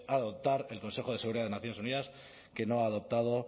adoptar el consejo de seguridad de naciones unidas que no ha adoptado